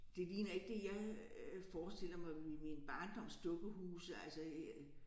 Det ligner ikke det jeg øh forestiller mig ved mine barndoms dukkehuse altså øh